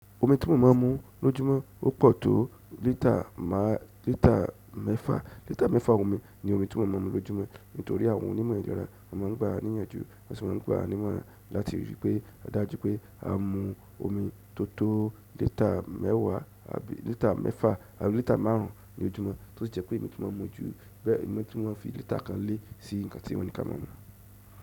Omi tí mo máa ń mu lójúmọ́ o pọ̀ tó lítà mẹ́fà. Lítà mẹ́fà omi ni omi tí mo máa ń mu lójúmọ́. Nítorí àwọn onímọ̀ ìlera máa ń gba wa níyànjú, wọn si mo n gba wa nímọ́ra láti ríi pé a ríi dájù pé a mu omi tó tó lítà mẹ́wàá tàbí lítà mẹ́fà àbí lítà márùn ún lójúmọ́, tó sì jẹ́ pé emi tun mọ́ mu ju bẹ emi tun mo n fi lítà kan lé sí nǹkan tí wọ́n ní ká máa mu.